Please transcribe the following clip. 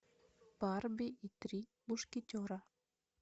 барби и три мушкетера